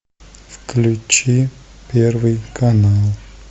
включи первый канал